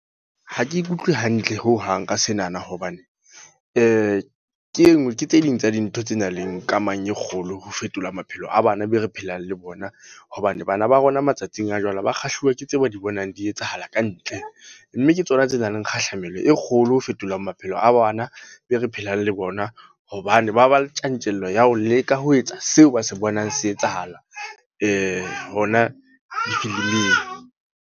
Ha ke ikutlwe hantle ho hang ka senana. Hobane, Ke e nngwe ke tse ding tsa dintho tse nang le kamang e kgolo ho fetola maphelo a bana be re phelang le bona. Hobane, bana ba rona matsatsing a jwale, ba kgahluwa ke tseo ba di bonang di etsahala ka ntle. Mme ke tsona tse nang le kgahlamelo e kgolo ho fetola maphelo a bana be re phelang le bona. Hobane ba ba le tjantjello ya ho leka ho etsa seo ba se bonang se etsahala hona difiliming.